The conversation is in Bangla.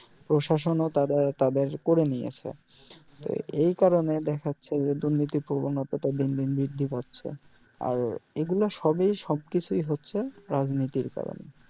প্রশাসন ও তাদের তাদের করে নিয়েছে তো এই কারণে দ্যাখাচ্ছে যে দুর্নীতির প্রবনতা টা দিন দিন বৃদ্ধি পাচ্ছে আর এগুলা সবই সবকিছু ই হচ্ছে রাজনীতির কারণ